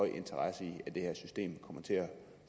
interesse i at det her system kommer til at